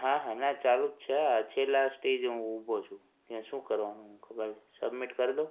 હા હા ના ચાલુ જ છે છેલ્લા stage એ હું ઉભો છું ત્યાં શું કરવાનું મને ખબર નથી submit કરી દવ?